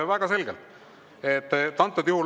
Väga selgelt!